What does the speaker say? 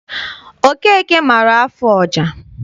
Okeke maara afụ ọja.